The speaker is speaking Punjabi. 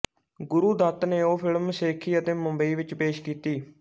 ਗੁਰੂ ਦੱਤ ਨੇ ਉਹ ਫ਼ਿਲਮ ਸੇਖੀ ਅਤੇ ਮੁੰਬਈ ਵਿੱਚ ਪੇਸ਼ ਕੀਤੀ